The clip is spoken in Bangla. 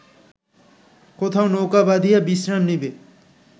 কোথাও নৌকা বাঁধিয়া বিশ্রাম নিবে